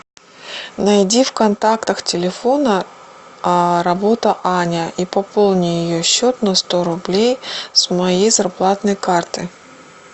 найди в контактах телефона работа аня и пополни ее счет на сто рублей с моей зарплатной карты